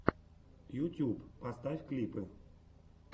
ютюб поставь клипы